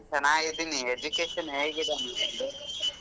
ಚೆನ್ನಾಗಿದ್ದೀನಿ education ಹೇಗಿದೆ ಮುಂದಿಂದು.